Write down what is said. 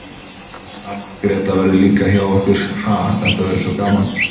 Amma Gréta verður líka hjá okkur, ha, þetta verður svo gaman.